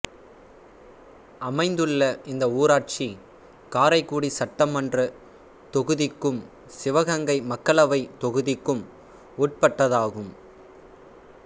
அமைந்துள்ளது இந்த ஊராட்சி காரைக்குடி சட்டமன்றத் தொகுதிக்கும் சிவகங்கை மக்களவைத் தொகுதிக்கும் உட்பட்டதாகும்